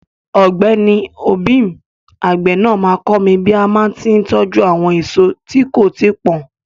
Ọ̀gbẹ́ni obim, àgbè náà máa kọ́ mi bí màá tí tọ́jú àwọn èso tí kò tíì pọ́n.